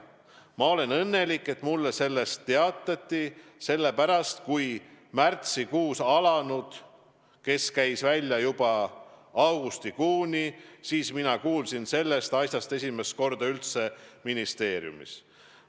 Ma olen õnnelik, et mulle sellest teatati, sellepärast kui märtsikuus alanud case käis välja juba augustikuuni, siis mina kuulsin sellest asjast esimest korda üldse ministeeriumis.